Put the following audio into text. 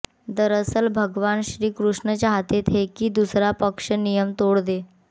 दरअसल भगवान श्री कृष्ण चाहते थे कि दूसरा पक्ष नियम तोड़ दे